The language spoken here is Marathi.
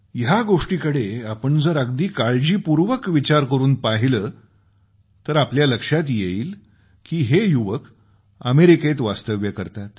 या गोष्टीकडे आपण जर अगदी काळजीपूर्वक विचार करून पाहिलं तर आपल्या लक्षात येईल की हे युवक अमेरिकेत वास्तव्य करतात